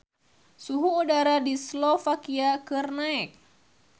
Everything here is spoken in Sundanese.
Suhu udara di Slovakia keur naek